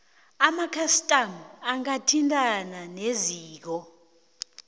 amakhastama angathintana neziko